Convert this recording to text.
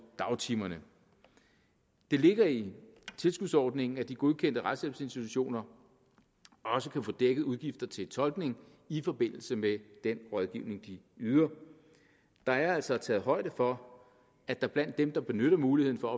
i dagtimerne det ligger i tilskudsordningen at de godkendte retshjælpsinstitutioner også kan få dækket udgifter til tolkning i forbindelse med den rådgivning de yder der er altså taget højde for at der blandt dem der benytter muligheden for